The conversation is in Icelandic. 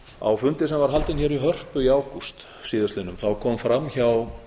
á fundi sem var haldinn hér í hörpu í ágúst síðastliðnum kom fram hjá